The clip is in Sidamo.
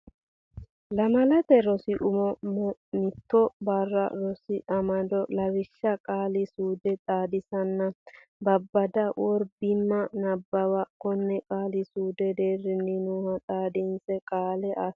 Lamalate Rosi Umo Maatto Barru Rosi Amado Lawishsha Qaali suude xaadisanna babbada worb imma Nabbawa konne qaali suudu deerrinni nooha xaadinse qaale asse.